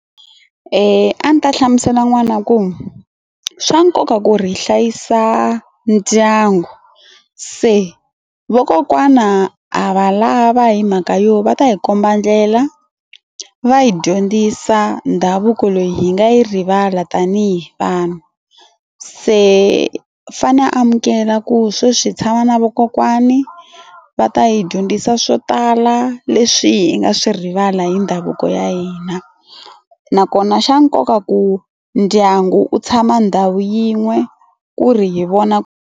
A ndzi ta hlamusela n'wana ku swa nkoka ku ri hi hlayisa ndyangu se vakokwana ha va lava hi mhaka yo va ta hi komba ndlela va yi dyondzisa ndhavuko leyi hi nga yi rivala tanihi vanhu se fane amukela ku sweswi tshama na vakokwani va ta hi dyondzisa swo tala leswi hi nga swi rivala hi ndhavuko ya hina na kona xa nkoka ku ndyangu u tshama ndhawu yin'we ku ri hi vona.